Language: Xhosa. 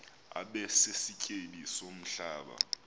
abe sisityebi somhlaba